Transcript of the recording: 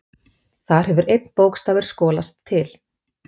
Þar hefur einn bókstafur skolast til.